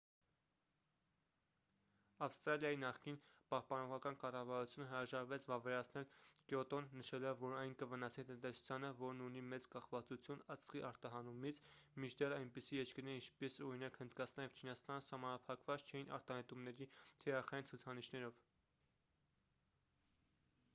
ավստրալիայի նախկին պահպանողական կառավարությունը հրաժարվեց վավերացնել կյոտոն նշելով որ այն կվնասի տնտեսությանը որն ունի մեծ կախվածություն ածխի արտահանումից մինչդեռ այնպիսի երկրներ ինչպես օրինակ հնդկաստանը և չինաստանը սահմանափակված չէին արտանետումների թիրախային ցուցանիշներով